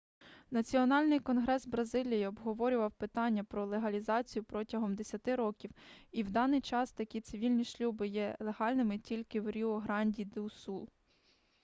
національний конгрес бразилії обговорював питання про легалізацію протягом 10 років і в даний час такі цивільні шлюби є легальними тільки в ріу-гранді-ду-сул